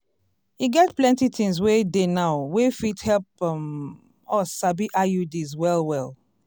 e get plenty things wey dey now wey fit help um us sabi iuds well well.